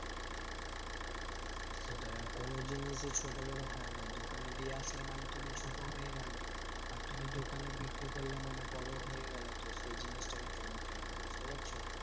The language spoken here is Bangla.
সেটাই কোনো জিনিসই ছোট বড় হয় না। দোকানে দিয়ে আসলে মানে তুমি ছোট হয়ে গেলে। আর তুমি দোকানে বিক্রি করলে মানে বড় হয়ে গেলে। তো সেই জিনিসটা কিন্তু মোটেই না, বুঝতে পারছো?